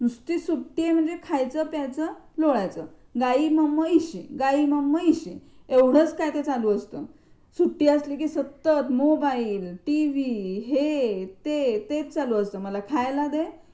नुसती सुट्टी आहे म्हणजे खायचं प्यायचं लोळायच, गायी म म्हशी, गायी म म म्हशी एवढच काय ते चालू असत. सुटी असली की सतत मोबाईल टीव्ही हे ते तेच चालू असतं. मला खायला दे.